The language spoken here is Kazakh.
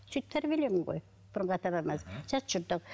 сөйтіп тәрбиелеген ғой бұрынғы ата бабаларамыз жат жұрттық